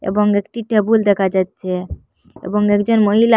এবং একটি টেবুল দেকা যাচ্চে এবং একজন মহিলা--